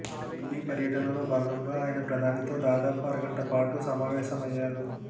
ఢిల్లీ పర్యటనలో భాగంగా ఆయన ప్రధానితో దాదాపు అరగంట పాటు సమావేశమయ్యారు